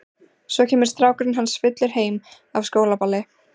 Svo kemur strákurinn hans fullur heim af skólaballi.